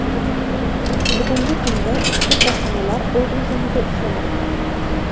Bugungi kunda ushbu korxonalar o‘z rejimida ishlamoqda.